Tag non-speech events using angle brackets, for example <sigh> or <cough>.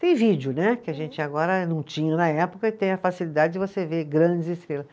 Tem vídeo né, que a gente agora não tinha na época, e tem a facilidade de você ver grandes <unintelligible>